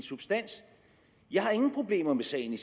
substans jeg har ingen problemer med sagen i